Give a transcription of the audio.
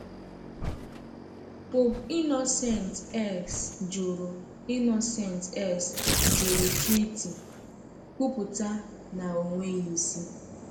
Pope Innocent X jụrụ Innocent X jụrụ treaty, kwupụta na ọ nweghị isi.